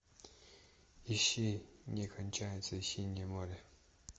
ищи не кончается синее море